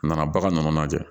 A nana bagan lajɛ